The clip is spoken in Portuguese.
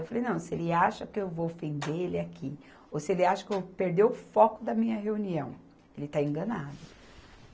Eu falei, não, se ele acha que eu vou ofender ele aqui, ou se ele acha que eu vou perder o foco da minha reunião, ele está enganado.